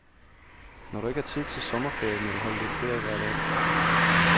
Når du ikke har tid til sommerferie, må du holde lidt ferie hver dag.